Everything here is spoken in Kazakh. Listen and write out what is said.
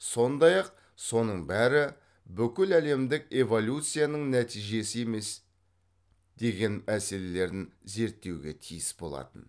сондай ақ соның бәрі бүкіләлемдік эволюцияның нәтижесі емес деген мәселелерін зерттеуге тиіс болатын